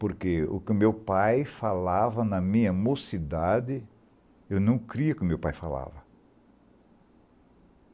Porque o que o meu pai falava, na minha mocidade, eu não cria que o meu pai falava.